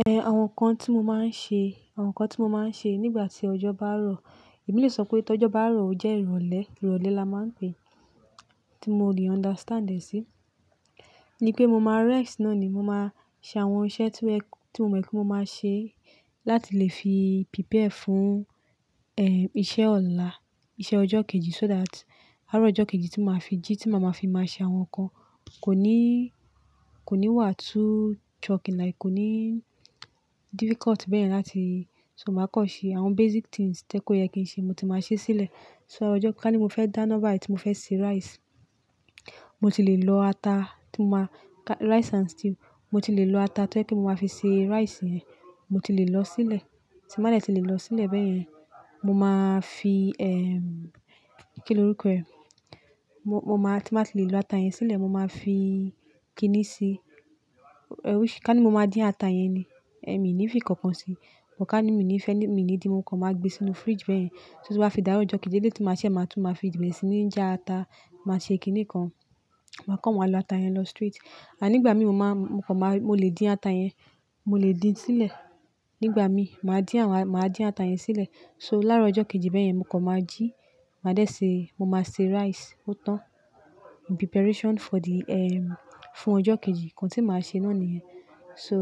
Ehn, àwọn nǹkan tí mo máa ń ṣe, àwọn nǹkan tí mo máa ń ṣe nígbà tí ọjọ́ bá rọ̀. Èmi lè sọ pé tí ọjọ́ bá rọ̀, ó jẹ́ ìrọ̀lẹ́. Ìrọ̀lẹ́ la máa ń pè é. Tí mo lè understand ẹ sí, ní pé mo máa rest náà ni. Mo máa ṣe àwọn iṣẹ́ tí mo, tí mo mọ̀ pé mo máa ṣe láti lè fi prepare fún, ehn, iṣẹ́ ọ̀la, iṣẹ́ ọjọ́ kejì. So that, àárọ̀ ọjọ́ kejì tí màá fi jí, tí màá máa fi máa ṣe àwọn nǹkan, kò ní, kò ní wà too choking like kò ní difficult bẹ́ẹ̀ láti-- so màá kọ́ ṣe àwọn basic things tí ẹ kó yẹ kí n ṣe, mo ti máa ṣe sílẹ̀. So ọjọ́, ká ní mo fẹ́ dáná báyi tí mo fẹ́ se rice, mo ti lè lọ ata tí mo máa-- rice and stew, mo ti lè lọ ata tó ẹ kó mo máa fi se rice yẹn, mo ti lè lọ sílẹ̀. Tí n bá dẹ̀ tí lè lọ sílẹ̀ bẹ́yẹn, mo máa fi, ehm, kí ni orúkọ ẹ? Mo, mo máa, tí báa ti lè lo ata yẹn sílẹ̀, mo máa fi kiní sí i. Ká ní mo máa dín ata yẹn ni, ẹ mi ní fi ìkankan sí i. Buh ká ní mi ní fẹ́ ní, mi ní di mo kan máa gbé sínú fridge bẹ́yẹn. So tí o bá fi dárọ ọjọ́ kejì eleyii tí màá ṣẹ́, màá tún máa fi bẹrẹ síni jà ata, màá ṣe kiní kan, màá kó wọn lọ ata yẹn lọ straight. Àní ìgbà mi, mo máa, mo kọ̀ máa, mo lè dín ata yẹn, mo lè dín sílẹ̀. Nígbà mi, màá dín àwọn, màá dín ata yẹn sílẹ̀. So láàrọ̀ ọjọ́ kejì bẹ́yẹn, mo kọ́ máa jí, màá dẹ̀ ṣe, mo máa se rice, ó tán. Preparation for the, ehm, fún ọjọ́ kejì. Ǹkan tí màá ṣe náà ni yẹn. So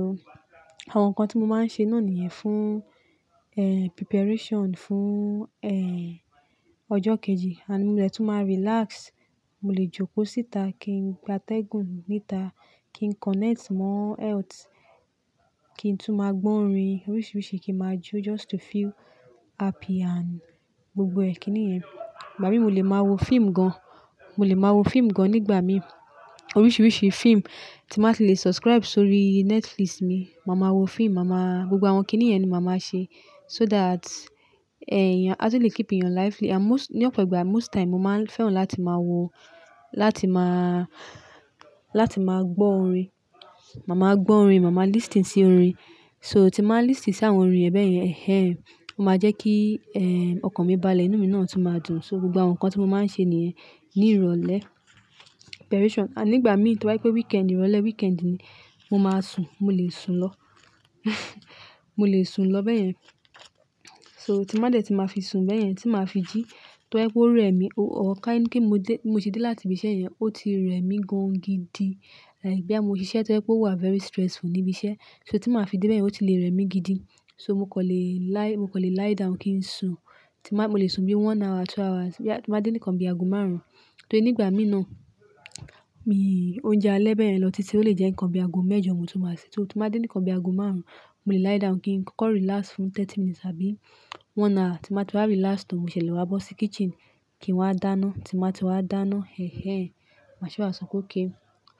àwọn nǹkan tí mo máa ń ṣe náà ni yẹn fún, ehn, preparation fún, ehn, ọjọ́ kejì. And mo dẹ̀ tún máa relax. Mo lè jókòó síta kí n gbátẹ́gùn níta, kí n connect mọ́ earth, kí n tún máa gbọ́ orin oríṣìíríṣìí kí n máa jó just to feel happy and gbogbo ẹ́ kí ni ẹ. Ìgbà mi mo lè máa wo fíìmù gan. Mo lè máa wo fíìmù gan nígbà mi. Oríṣìíríṣìí fíìmù tí n bàá ti lè subscribe sórí Netflix mi. Màá máa wo fíìmù, màá máa gbogbo àwọn kiní yẹn ni màá máa ṣe. So that, ehn, ẹ̀yàn a tó lè keep ìyàn lively. And most-- ní ọ̀pọ̀ ìgbà, most time, mo máa ń fẹ́ràn láti máa wo, láti máa, láti máa gbọ́ orin. Màá máa gbọ́ orin, màá máa listen sí orin. So tí màá listen sí àwọn orin ẹ bẹ́yẹn, ẹhẹ́n, ó máa jẹ́ kí, ehn, ọkàn mi balẹ̀, inú mi náà tún máa dùn. So gbogbo àwọn nǹkan tí mo máa ń ṣe ni yẹn ní ìrọ̀lẹ́. Preparation. Ní ìgbà mi tí o bá jẹ pé weekend, ìrọ̀lẹ́ weekend ni, mo máa sùn. Mo lè sùn lọ. Mo lè sùn lọ bẹ́yẹn. So tí máà dẹ̀ tí màá fi sùn bẹ́yẹn, tí màá fi jí, tó ba jẹ pé ó rẹ mí ó, ká ní pé mo dé, mo ti dé láti ibi iṣẹ́ yẹn, ó ti rẹ mí gan gidi. Like boyà mo ṣiṣẹ́ tó jẹ pé ó wà very stressful níbi iṣẹ́. So tí màá fi dé bẹ́yẹn, ó ti lè rẹ́ mi gidi. So mo kọ̀ lè lie, mo kọ̀ lè lie down kí n sùn. Tí màá, mo lè sùn bí one hour, two hours. Boyà tí màá dé nìkan bí aago márùn-ún. Torí ní ìgbà mi náà, mi òúnjẹ alẹ́ bẹ́yẹn lọ títí ó lè jẹ́ nìkan bí aago mẹ́jọ mo tó máa ṣe. So tí màá dé nìkan bí aago márùn-ún, mo lè lie down kí n kọ́kọ́ relax fún thirty minutes àbí one hour. Tí n bàá ti wá relax tán, mo ṣẹ le wá bọ́ sí kitchen kí n wá dáná. Tí n bàá ti wá dáná, ẹhẹ́n, màá sì wá sọ pe okay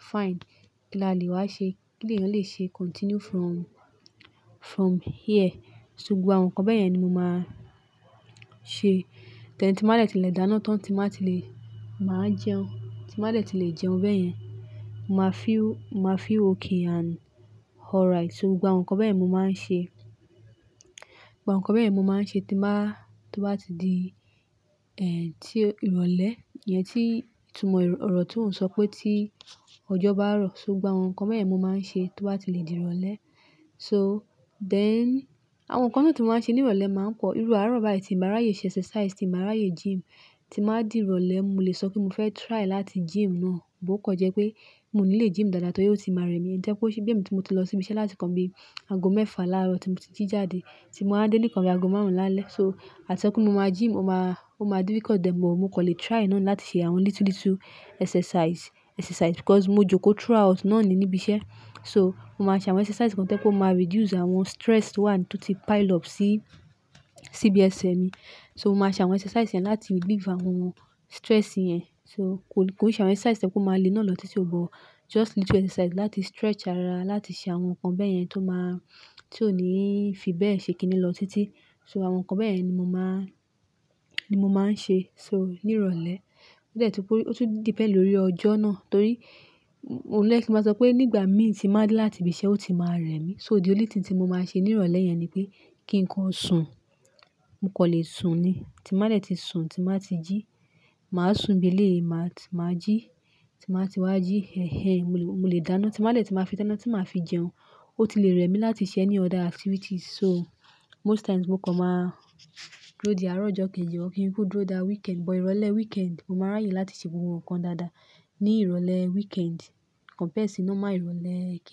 "Fine. Kí la lè wá ṣe? Kí ni èèyàn lè ṣe continue from, from here?" So gbogbo àwọn nǹkan bẹ́yẹn ni mo máa ṣe. Then tí màá dẹ̀ tí lè dáná tán, tí màá ti lè, màá jẹun. Tí màá dẹ̀ tí lè jẹun bẹ́yẹn, màá feel, màá feel okay and alright. So gbogbo àwọn nǹkan bẹ́yẹn ni mo máa ń ṣe. Ǹkan bẹ́yẹn ni mo máa ń ṣe tí n màá, tí wọ́n bá ti di, ehn, tí ìrọ̀lẹ́ íyẹn tí, tí mo ròótó ń sọ pé tí ọjọ́ bá rọ̀. So gbogbo àwọn nǹkan bẹ́yẹn ni mo máa ń ṣe tí wọ́n bá ti lè di ìrọ̀lẹ́. So then àwọn nǹkan mi tí mo máa ń ṣe ní ìrọ̀lẹ́ máa ń pọ̀. Irú àárọ̀ báyi tí n bàá ráyè ṣe exercise, tí n bàá ráyè gym, tí màá di ìrọ̀lẹ́. Mo lè sọ pé mo fẹ́ try láti gym náà, bọ o kan jẹ́ pé mò nílé gym dáadáa torí ó ti máa rẹ mí. Tó ṣe bí èmi tí mo ti lọ sí ibi iṣẹ́ láti kàn bí aago mẹ́fà láàrọ̀ tí mo ti jí jáde, tí mo wá dé nìkan bí aago márùn-ún lálẹ́. So àti sọ̀pe mo máa gym, ó máa, ó máa difficult. But mo kàn lè try náà ni láti ṣe àwọn little little exercise, exercise because mo jókòó through out náà ni níbi iṣẹ́. So mo máa ṣe àwọn exercise kan to jẹ pé ó máa reduce àwọn stress ti o wa ni, tí ó ti pile up sí, síbi ẹsẹ̀ mi. So mo máa ṣe àwọn exercise yẹn láti relieve àwọn stress yẹn. So kò ì ṣe àwọn exercise to ṣe pé ó máa le náà lọ títí. But just little exercise láti stretch ara, láti ṣe àwọn nǹkan bẹ́yẹn tó máa, tí ò ní fi bẹ́ẹ̀ ṣe kiní lọ títí. So àwọn nǹkan bẹ́yẹn ni mo máa, ni mo máa ń ṣe. So ní ìrọ̀lẹ́. O dẹ́ ti pé, ó tún depend lórí ọjọ́ náà. Torí, òun jẹ kín màá sọ pé nígbà mi tí màá dé láti ibi iṣẹ́, ó ti máa rẹ mí. So the only thing tí mo máa ṣe ní ìrọ̀lẹ́ yẹn ni pé kí n kàn sùn. Mo kàn lè sùn ni. Tí n bàá dẹ̀ tí sùn, tí n bàá ti jí, màá sùn bí lè, màá, tí màá jí, tí màá ti wá jí, ẹhẹ́n, mo lè dáná. Tí màá dẹ̀ tí màá fi dáná, tí màá fi jẹun, ó ti lè rẹ mí láti ṣe ẹ́ní other activities. So most times mo kàn máa dúró di àárọ̀ ọjọ́ kejì or kí n kú dúró dá weekend. But ìrọ̀lẹ́ weekend, mo máa ráyè láti ṣe gbogbo nǹkan dáadáa ní ìrọ̀lẹ́ weekend compared sí normal ìrọ̀lẹ́ kí--